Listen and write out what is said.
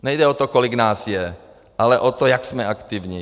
Nejde o to, kolik nás je, ale o to, jak jsme aktivní.